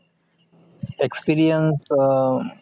experience अं